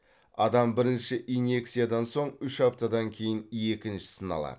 адам бірінші инъекциядан соң үш аптадан кейін екіншісін алады